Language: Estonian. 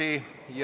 Istung on lõppenud.